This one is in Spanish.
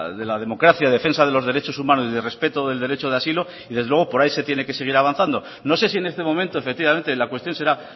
de la democracia defensa de los derechos humanos y de respeto del derecho de asilo desde luego por ahí se tiene que seguir avanzando no sé si en este momento efectivamente la cuestión será